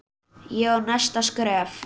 Ég á næsta skref.